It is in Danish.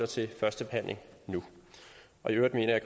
til første behandling nu og i øvrigt mener